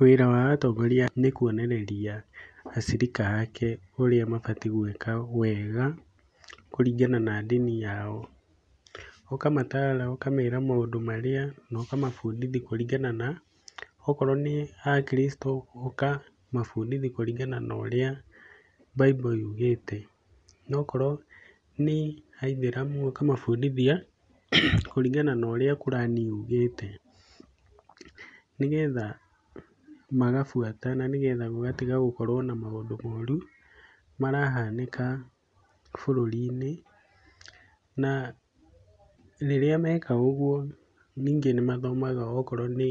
Wĩra wa atongoria nĩ kuonereria acirika ake ũrĩa mabatiĩ gwĩka wega kũringana na ndini yao, ũkamataara na ũkamera maũndũ marĩa na ũkamabundithia kũringana na akorwo nĩ Akrĩsto ũkamabundithia kũringana na ũrĩa Bible yugĩte, na okorwo nĩ Aithĩramu ũkamabundithia kũringana na ũrĩa Korani yugĩte nĩgetha magabuta na nĩgetha gũgatiga gũkorwo na maũndũ moru marahanĩka bũrũri-inĩ, na rĩrĩa meka ũguo ningi nĩmathomaga okorwo nĩ